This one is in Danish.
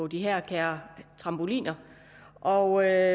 de her kære trampoliner og